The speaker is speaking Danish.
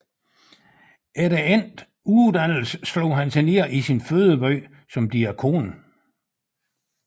Efter endt uddannelse slog han sig ned i sin fødeby som diakon